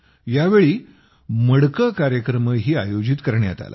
यावेळी मडके कार्यक्रमही आयोजित करण्यात आला